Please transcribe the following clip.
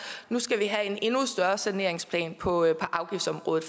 nu skal vi have en endnu større saneringsplan på afgiftsområdet